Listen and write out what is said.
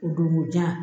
O don ko jan